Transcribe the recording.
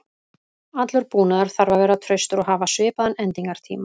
Allur búnaður þarf að vera traustur og hafa svipaðan endingartíma.